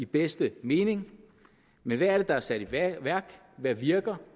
bedste mening men hvad er det der er sat i værk hvad virker